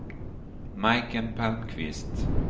Majken Palmqvist